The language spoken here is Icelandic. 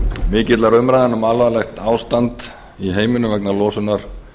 mikilla umræðna um alvarlegt ástand í heiminum vegna losunar